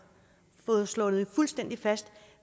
slået fuldstændig fast